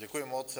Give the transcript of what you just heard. Děkuji moc.